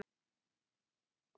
Ó, skvetta á vatni.